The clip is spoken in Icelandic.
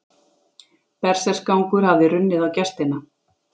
Berserksgangur hafði runnið á gestina.